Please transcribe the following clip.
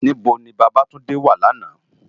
Nibó ni Babatunde wá làná?